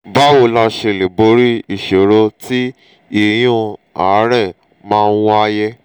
báwo la ṣe lè borí ìṣòro tí ìyún àárẹ̀ máa ń wáyé?